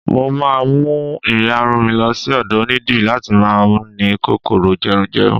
mo ma mu iyarun mi lo sí ọdọ onidiri lati ma ni kòkòrò jerunjerun